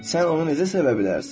Sən onu necə sevə bilərsən?